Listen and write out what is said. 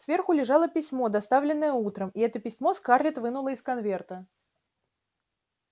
сверху лежало письмо доставленное утром и это письмо скарлетт вынула из конверта